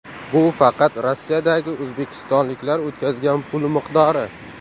Bu faqat Rossiyadagi o‘zbekistonliklar o‘tkazgan pul miqdori.